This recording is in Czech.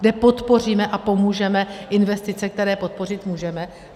Kde podpoříme a pomůžeme investice, které podpořit můžeme?